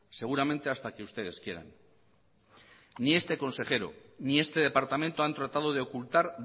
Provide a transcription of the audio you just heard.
seguramente hasta que ustedes quieran ni este consejero ni este departamento han tratado de ocultar